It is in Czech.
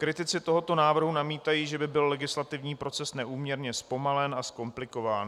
Kritici tohoto návrhu namítají, že by byl legislativní proces neúměrně zpomalen a zkomplikován.